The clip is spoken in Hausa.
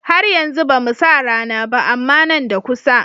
Har yanzu bamu sa rana ba. amma Nan da kusa